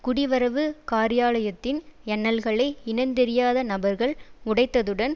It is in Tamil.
குடிவரவு காரியாலயத்தின் யன்னல்களை இனந்தெரியாத நபர்கள் உடைத்ததுடன்